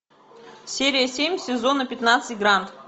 серия семь сезона пятнадцать гранд